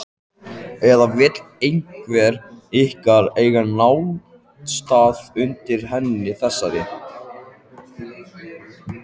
Eða vill einhver ykkar eiga náttstað undir henni þessari?